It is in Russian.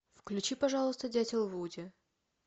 включи пожалуйста дятел вуди